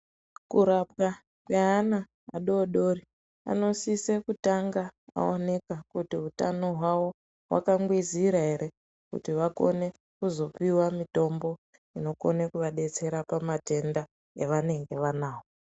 Kurapwa kweana adodori anosise kutanga aonekwa kuti utano hwao hwakangwizira ere kuti vakone kuzopiwe mitombo inokona kuvadetsera pamatenda evanenge vanao.